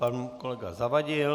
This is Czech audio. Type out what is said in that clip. Pan kolega Zavadil.